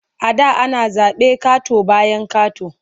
A da ana zaɓe ƙato-bayan ƙato.